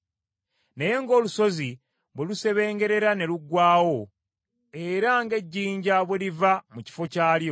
“Naye ng’olusozi bwe luseebengerera ne luggwaawo, era ng’ejjinja bwe liva mu kifo kyalyo,